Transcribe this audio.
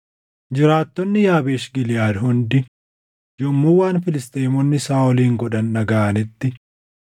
Jiraattonni Yaabeesh Giliʼaad hundi yommuu waan Filisxeemonni Saaʼolin godhan dhagaʼanitti,